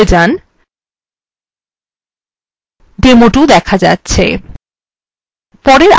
scroll করে উপরে যান demo2 দেখা যাচ্ছে